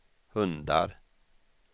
hundar